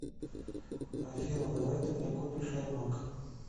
афина давай ты мне купишь аймак